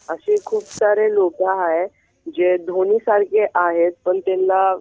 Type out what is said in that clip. अशे खूप सारे लोक आहे जे धोनी सारखे आहेत पण त्यांला